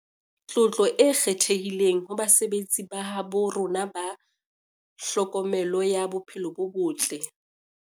Tlotlo e kgethehileng ho basebetsi ba habo rona ba tlhokomelo ya bophelo bo botle